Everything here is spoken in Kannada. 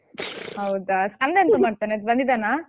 ಹೌದಾ ಅಣ್ಣ ಎಂತ ಮಾಡ್ತಾನೆ ಬಂದಿದ್ದಾನ?